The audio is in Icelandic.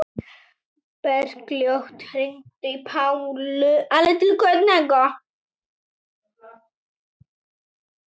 Bergljót, hringdu í Pálu eftir tvær mínútur.